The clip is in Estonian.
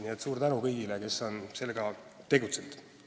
Nii et suur tänu kõigile, kes on sellega tegelenud!